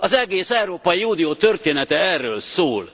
Az egész Európai Unió története erről szól!